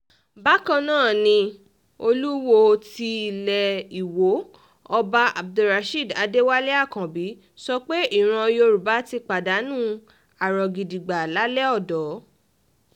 bákan náà ni olùwọ́ọ́ tilé um ìwọ ọba abdulrasheed adéwálé um àkànbí sọ pé ìran yorùbá ti pàdánù àrògidígbà lálẹ́ odò